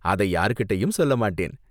அதை யாரு கிட்டேயும் சொல்ல மாட்டேன்...